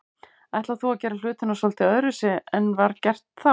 Ætlar þú að gera hlutina svolítið öðruvísi en var gert þá?